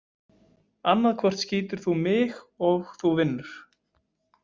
Annaðhvort skýtur þú mig og þú vinnur.